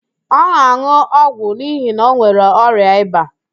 Ọ na-an̄ụ ọgwụ n'ihi na ọ nwere ọrịa ịba